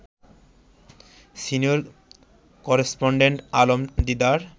senior correspondent Alam Didar